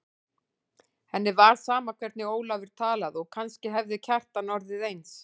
Henni var sama hvernig Ólafur talaði og kannski hefði Kjartan orðið eins.